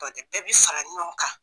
Bɛɛ bi fara ɲɔgɔn kan.